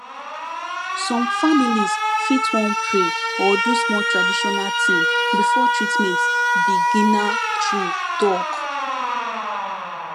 some families fit wan pray or do small traditional thing before treatment beginna true talk